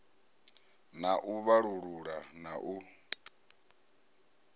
na u vhalulula na u